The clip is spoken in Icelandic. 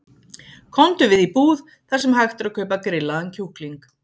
Komdu við í búð þar sem hægt er að kaupa grillaðan kjúkling.